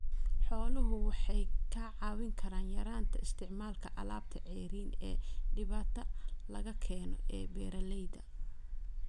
Xooluhu waxay kaa caawin karaan yaraynta isticmaalka alaabta ceeriin ee dibadda laga keeno ee beeralayda.